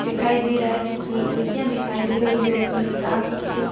दिखाई दे रहा है कुछ लड़किया दिखाई दे रही है ग्रुप मे जो डांस करते हुए।